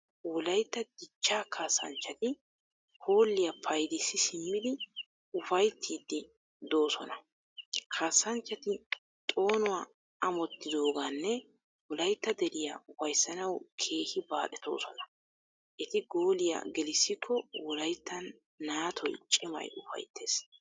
Wolayyta dichchss kaassanchchati hoolliya paydissi simmid ufayttiiddi doosona. Kaassanchchati xoonuwa ammotyidoogaanne Wolaytta deriya ufayssanawu keehi baaxetoosona. Eti gooliya gelissikko Wolayttan naatoy cimay ufayttees.